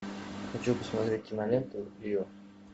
хочу посмотреть киноленту рио